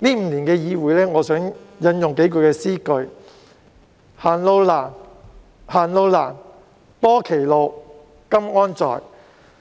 這5年的議會生涯，我想引用數句詩句："行路難，行路難，多歧路，今安在？